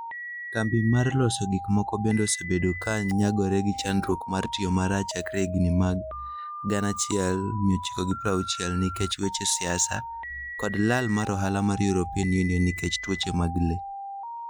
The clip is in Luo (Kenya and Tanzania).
Kambi mar loso gik moko bende osebedo ka nyagore gi chandruok mar tiyo marach chakre higni mag 1960 nikech weche siasa, kod lal mar ohala mar European Union nikech tuoche mag le.